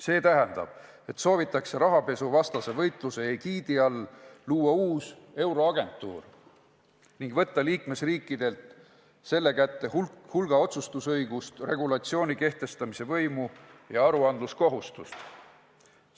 See tähendab, et soovitakse rahapesuvastase võitluse egiidi all luua uus euroagentuur ning võtta liikmesriikidelt ära ja anda selle kätte hulk otsustusõigust, regulatsiooni kehtestamise võimu ja aruandluse kohustamist.